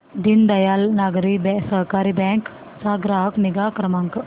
Deendayal Nagari Sahakari bank चा ग्राहक निगा क्रमांक